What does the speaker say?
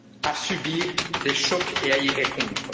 notre capacité à subir des chocs et